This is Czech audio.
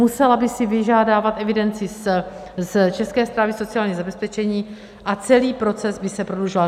Musela by si vyžádat evidenci z České správy sociálního zabezpečení a celý proces by se prodlužoval.